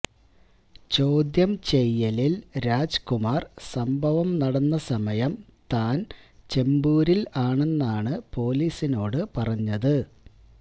ചോദ്യംചെയ്യലില് രാജ്കുമാര് സംഭവം നടന്ന സമയം താന് ചെമ്പൂരില് ആണെന്നാണ് പോലീസിനോടു പറഞ്ഞത്